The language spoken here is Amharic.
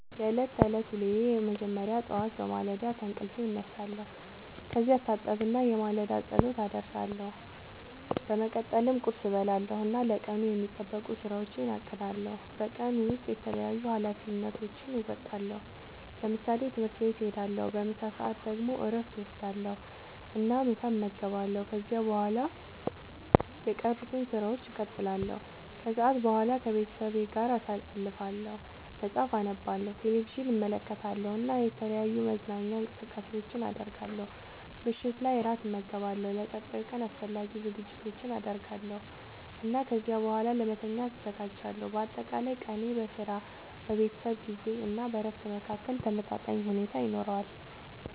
የዕለት ተዕለት ዉሎየ መጀመሪያ ጠዋት በማለዳ ከእንቅልፌ እነሳለሁ። ከዚያ እታጠብና የማለዳ ጸሎት አደርሳለሁ። በመቀጠልም ቁርስ እበላለሁ እና ለቀኑ የሚጠበቁ ሥራዎቼን አቅዳለሁ። በቀን ውስጥ የተለያዩ ኃላፊነቶቼን እወጣለሁ። ለምሳሌ፦ ትምህርት ቤት እሄዳለሁ። በምሳ ሰዓት ደግሞ እረፍት እወስዳለሁ እና ምሳ እመገባለሁ። ከዚያ በኋላ የቀሩትን ሥራዎች እቀጥላለሁ። ከሰዓት በኋላ ከቤተሰቤ ጋር ጊዜ አሳልፋለሁ፣ መጽሐፍ አነባለሁ፣ ቴሌቪዥን እመለከታለሁ እና የተለያዩ መዝናኛ እንቅስቃሴዎችን አደርጋለሁ። ምሽት ላይ እራት እመገባለሁ፣ ለቀጣዩ ቀን አስፈላጊ ዝግጅቶችን አደርጋለሁ እና ከዚያ በኋላ ለመተኛት እዘጋጃለሁ። በአጠቃላይ ቀኔ በሥራ፣ በቤተሰብ ጊዜ እና በእረፍት መካከል ተመጣጣኝ ሁኔታ ይኖረዋል።